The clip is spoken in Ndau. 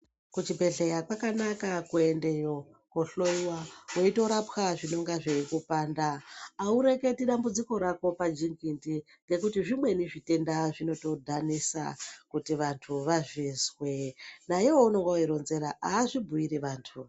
Kuchibhehleya kwakanaka kuendeyo kohlowiwa weitorapwa zvinonga zveikupanda. Aureketi dambudziko rako pajigidhi ngekuti zvimweni zvitenda zvinotodhanisa kuti vantu vazvizwe. Naivo vaunenge weitoronzera avazvibhuiri vantu.